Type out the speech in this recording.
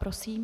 Prosím.